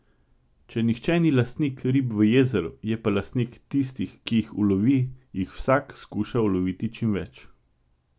Če nihče ni lastnik rib v jezeru, je pa lastnik tistih, ki jih ulovi, jih vsak skuša uloviti čim več.